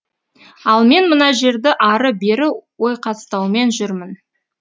ал мен мына жерді ары бері ойқастаумен жұрмін